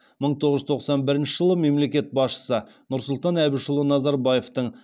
мың тоғыз жүз тоқсан бірінші жылы мемлекет басшысы нұрсұлтан әбішұлы назарбаевтың